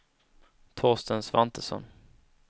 Torsten Svantesson